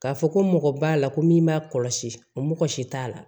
K'a fɔ ko mɔgɔ b'a la ko min b'a kɔlɔsi o mɔgɔ si t'a la